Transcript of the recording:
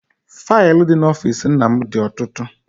Faịlụ dị n'ọfịịsi nna m dị ọtụtụ.